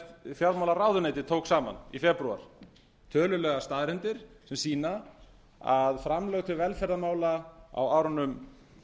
fjármálaráðuneytið tók saman í febrúar tölulegar staðreyndir sem sýna að framlög til velferðarmála á árunum